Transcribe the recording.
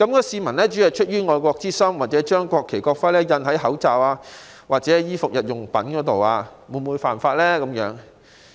市民出於愛國之心，將國旗和國徽印在口罩、衣服或日用品上，究竟是否犯法？